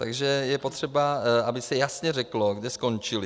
Takže je potřeba, aby se jasně řeklo, kde skončily.